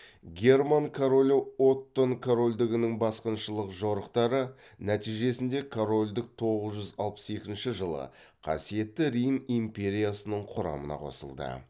герман королі оттон корольдігінің басқыншылық жорықтары нәтижесінде корольдік тоғыз жүз алпыс екінші жылы қасиетті рим империясының құрамына қосылды